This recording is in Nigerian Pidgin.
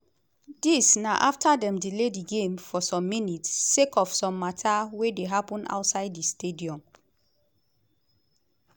dis na afta dem delay di game for some minutes sake of some mata wey dey happun outside di stadium.